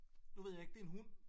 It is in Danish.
Nu ved jeg ikke det en hund